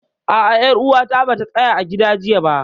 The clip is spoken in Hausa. A'a, ƴar uwata bata tsaya a gida jiya ba